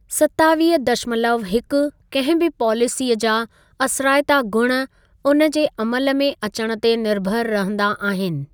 सतावीह दशमलव हिकु कहिं बि पॉलिसीअ जा असराइता गुण उनजे अमलु में अचण ते निर्भर रहंदा आहिनि।